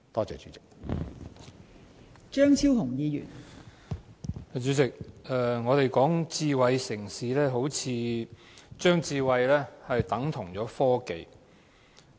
代理主席，我們討論智慧城市，好像把智慧等同科技。